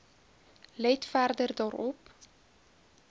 let verder daarop